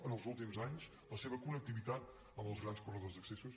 en els últims anys la seva connectivitat amb els grans corredors d’accessos